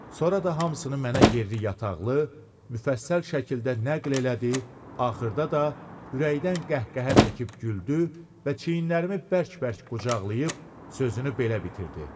Sonra da hamısını mənə yerli-yataqlı, müfəssəl şəkildə nəql elədi, axırda da ürəkdən qəhqəhə çəkib güldü və çiyinlərimi bərk-bərk qucaqlayıb sözünü belə bitirdi.